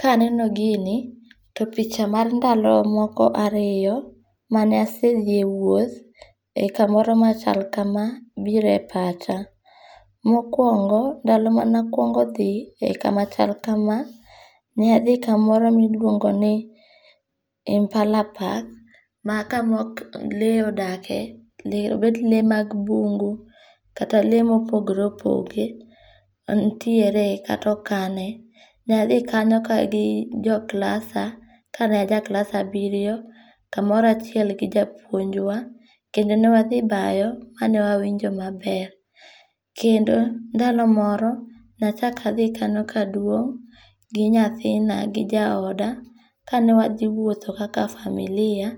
Kaneno gini, to picha mar ndalo moko ariyo, mane asethie wuoth e kamoro ma chal kamae biro e pacha, mokuongo ndalo mane akungo' thii e kama chal kama, ne athi kamoro ma iluongo ni Impala park, ma kama lee odake lee bet lee mag bungu kata lee ma opogore opogore, nitiere kata okane, nathi kanyo ka gi joklasa kane ajaklas abiriyo kamoro achiel gi japuonjwa kendo ne wathi bayo kane wawinjo maber, kendo ndalo moro nachako athi kanyo ka adung' gi nyathina gi jaoda kane wathiwuotho kaka familia